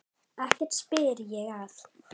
Ekki spyr ég að.